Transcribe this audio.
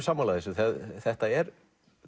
sammála þessu þetta er